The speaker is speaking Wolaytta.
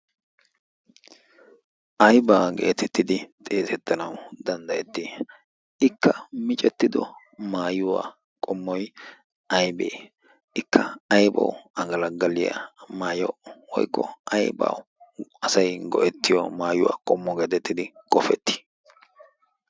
aybaa geetettidi xeesettanau danddayetti? ikka micettido maayuwaa qommoi aybee ikka aybawu agalaggaliyaa maaya woykko aibau asay go'ettiyo maayuwaa qommo geetettidi xegeetti?